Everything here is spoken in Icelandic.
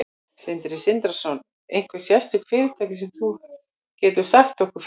Sindri Sindrason: Einhver sérstök fyrirtæki sem þú getur sagt okkur frá?